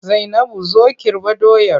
Zainabu zo Kirɓa doyar!